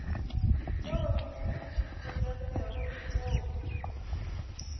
tšeo di bolokegilego le tšeo